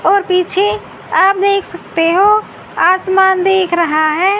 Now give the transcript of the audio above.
और पीछे आप देख सकते हो आसमान दिख रहा है।